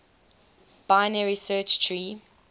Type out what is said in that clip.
binary search tree